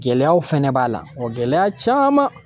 Gɛlɛyaw fɛnɛ b'a la o gɛlɛya caman